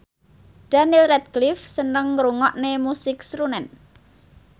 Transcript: Daniel Radcliffe seneng ngrungokne musik srunen